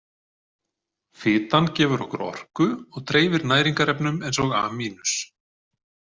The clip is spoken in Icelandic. Fitan gefur okkur orku og dreifir næringarefnum eins og A-.